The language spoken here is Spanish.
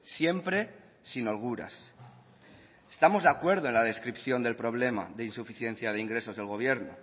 siempre sin holguras estamos de acuerdo en la descripción del problema de insuficiencia de ingresos del gobierno